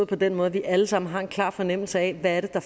på den måde at vi alle sammen har en klar fornemmelse af hvad det er